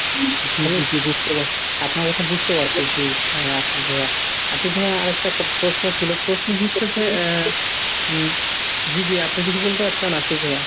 জি জি জি বুঝতে পাচ্ছি আপনার কথা বুঝতে পারছি জি আশিক ভাইয়া। আশিক ভাইয়া আরেকটা প্রশ্ন ছিল। প্রশ্ন হচ্ছে যে উম জি জি আপনি কিছু বলতে চাচ্ছেন আশিক ভাইয়া?